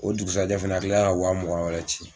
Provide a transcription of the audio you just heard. O dugusaja fana a kila ka wa mugan wɛrɛ ci.